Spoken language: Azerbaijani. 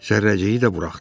Zərrəciyi də buraxdı.